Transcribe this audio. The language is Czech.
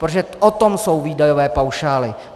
Protože o tom jsou výdajové paušály.